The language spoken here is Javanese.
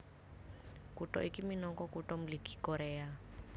Kutha iki minangka Kutha Mligi Koréa